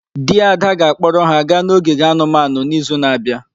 Di Ada ga-akpọrọ ha gaa ogige anumanu n’izu na-abịa.